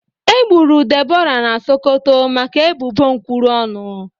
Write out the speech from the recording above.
Egburu Deborah na Sokoto maka ebubo nkwuru ọnụ